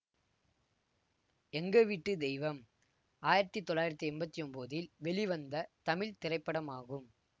எங்க வீட்டு தெய்வம் ஆயிரத்தி தொள்ளாயிரத்தி எம்பத்தி ஒன்போதில் வெளிவந்த தமிழ் திரைப்படமாகும்